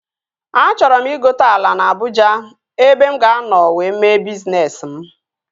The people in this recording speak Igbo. Achọrọ m ịgote ala na Abụja ebe mụ ga-anọ wee mee bizness m